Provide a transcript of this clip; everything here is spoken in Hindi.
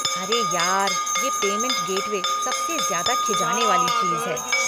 अरे यार, ये पेमेंट गेटवे सबसे ज्यादा खिजाने वाली चीज़ है।